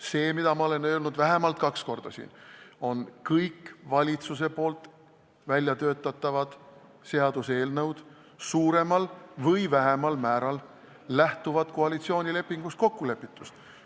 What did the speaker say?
See, mida ma olen vähemalt kaks korda siin öelnud, on see, et kõik valitsuse poolt väljatöötatavad seaduseelnõud lähtuvad suuremal või vähemal määral koalitsioonilepingus kokkulepitust.